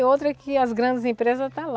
outra é que as grandes empresas está lá.